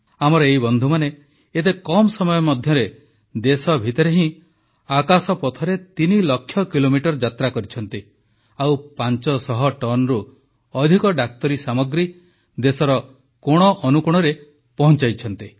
ଆମର ଏଇ ବନ୍ଧୁମାନେ ଏତେ କମ୍ ସମୟ ମଧ୍ୟରେ ଦେଶ ଭିତରେ ହିଁ ଆକାଶପଥରେ ତିନିଲକ୍ଷ କିଲୋମିଟର ଯାତ୍ରାକରିଛନ୍ତି ଓ 500 ଟନରୁ ଅଧିକ ଡାକ୍ତରୀ ସାମଗ୍ରୀ ଦେଶର କୋଣଅନୁକୋଣରେ ପହଂଚାଇଛନ୍ତି